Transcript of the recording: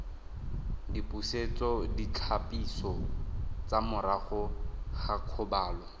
dipusetsoditlhapiso tsa morago ga kgobalo